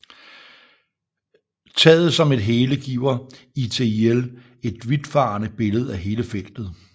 Taget som et hele giver ITIL et vidtfavnende billede af hele feltet